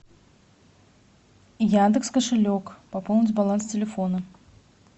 яндекс кошелек пополнить баланс телефона